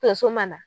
Tonso ma na